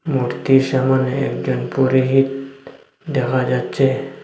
মূর্তির সামনে একজন পুরোহিত দেখা যাচ্ছে।